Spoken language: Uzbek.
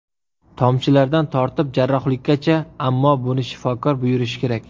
Tomchilardan tortib jarrohlikkacha, ammo buni shifokor buyurishi kerak.